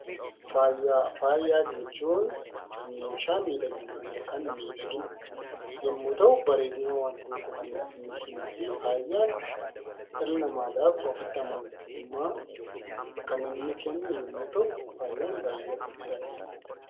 Faaya jechuun meeshaa miidhaginaa yookaan miidhagina yemmuu ta'u, bareedina wanta tokkoo kan ittiin ibsinuufi faayaan dhala namaadhaaf offitti amanamummaa kaninni kennu yemmuu ta'u, faayaan baay'ee barbaachisaadha.